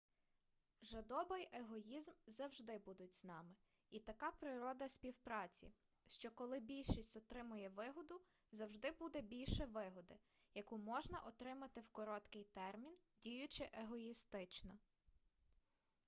жадоба й егоїзм завжди будуть із нами і така природа співпраці що коли більшість отримує вигоду завжди буде більше вигоди яку можна отримати у короткий термін діючи егоїстично